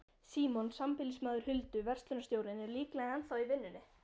Símon, sambýlismaður Huldu, verslunarstjórinn, er líklega ennþá í vinnunni.